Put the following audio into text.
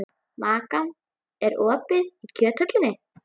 Makan, er opið í Kjöthöllinni?